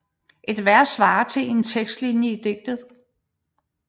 Et vers svarer til én tekstlinje i digtet